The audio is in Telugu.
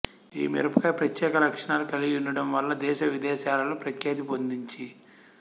ఈ మిరపకాయ ప్రత్యేక లక్షణాలు కలిగి యుండడం వల్ల దేశ విదేశాలలో ప్రఖ్యాతి పొందించి